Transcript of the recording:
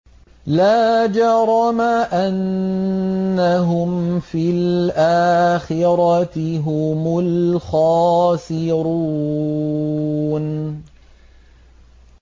لَا جَرَمَ أَنَّهُمْ فِي الْآخِرَةِ هُمُ الْخَاسِرُونَ